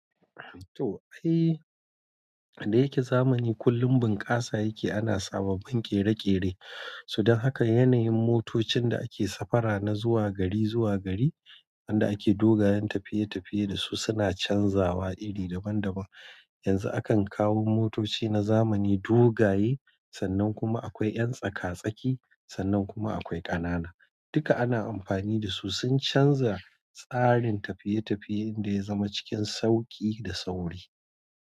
To ai, da yake zamani kullum bunƙasa yake ana sababbin kere-kere. So dan haka yanayin motocin da ake safara na zuwa gari zuwa gari wanda ake dogayen tafiya dasu suna canzawa iri daban-daban. Yanzu akan kawo motoci na zamani dogaye, sannan kuma akwai 'yan tsaka-tsaki, sannan kuma akwai ƙanana. Duka ana amfani da su sun canza tsarin tafiye-tafiye inda ya zama cikin sauƙi da sauri.